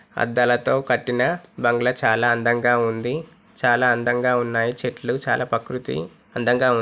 అద్దాలతో కట్టిన బంగ్లా చాలా అందంగా ఉంది చాలా అందంగా ఉన్నాయి చెట్లు చాలా ప్రకృతి అందంగా ఉం --